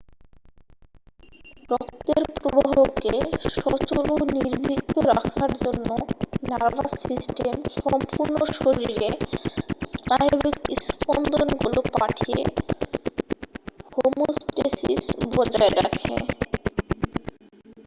রক্তের প্রবাহকে সচল ও নির্বিঘ্ন রাখার জন্য নার্ভাস সিস্টেম সম্পূর্ণ শরীরে স্নায়বিক স্পন্দনগুলো পাঠিয়ে হোমোস্টেসিস বজায় রাখে